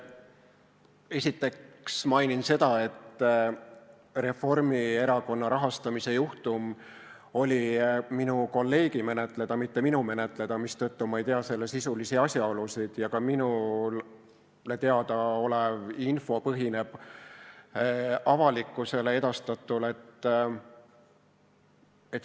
Esiteks mainin seda, et Reformierakonna rahastamise juhtum oli minu kolleegi menetleda, mitte minu menetleda, mistõttu ma ei tea selle sisulisi asjaolusid ja minule teada olev info põhineb ka avalikkusele edastatul.